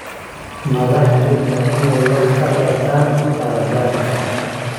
Madaxdu waa inay wax ka bartaan khaladaadka.